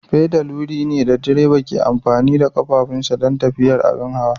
Fedal wuri ne da direba ke amfani da ƙafafunsa don tafiyar abin hawa.